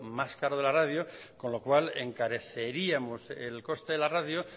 más caro de la radio con lo cual encareceríamos el coste de la radio